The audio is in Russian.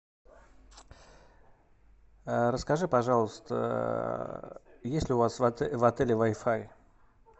расскажи пожалуйста есть ли у вас в отеле вай фай